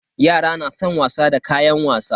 Yara na san wasa da kayan wasa.